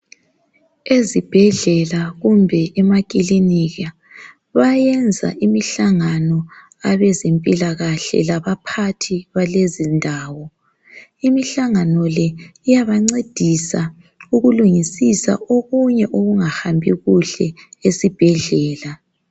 Ezibhedlela kumbe emakilinika bayenza imihlangano abezempilakahle laba phathi balezi ndawo imihlangano le iyabancedisa ukulungisisa okunye okungahambi kuhle esibhedlela.